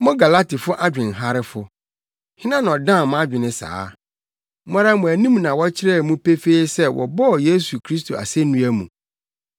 Mo Galatifo adwenharefo! Hena na ɔdan mo adwene saa? Mo ara mo anim na wɔkyerɛɛ mu pefee sɛ wɔbɔɔ Yesu Kristo asennua mu.